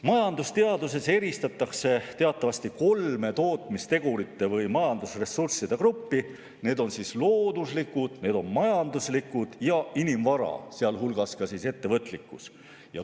Majandusteaduses eristatakse teatavasti kolme tootmistegurite või majandusressursside gruppi: looduslikud, majanduslikud ja inimvara, sealhulgas ettevõtlikkus.